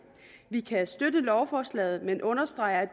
vi kan støtte lovforslaget men understreger at